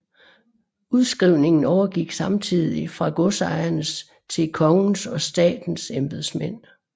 Udskrivningen overgik samtidigt fra godsejernes til kongens og statens embedsmænd